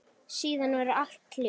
Síðan verður allt hljótt.